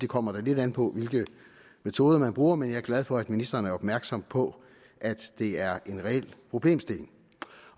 kommer lidt an på hvilke metoder man bruger men jeg er glad for at ministeren er opmærksom på at det er en reel problemstilling